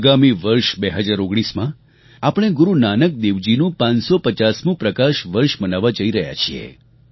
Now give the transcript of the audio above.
આગામી વર્ષ 2019માં આપણે ગુરૂ નાનક દેવજીનું 550મું પ્રકાશ વર્ષ મનાવવા જઈ રહ્યા છીએ